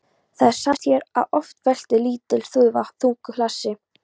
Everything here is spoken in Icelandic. Það sannaðist hér að oft veltir lítil þúfa þungu hlassi.